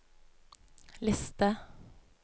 liste